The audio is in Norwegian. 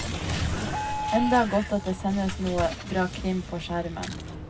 Enda godt at det sendes noe bra krim på skjermen.